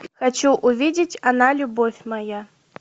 хочу увидеть она любовь моя